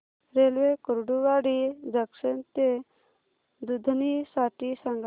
railway Kurduwadi junction ते दुधनी साठी सांगा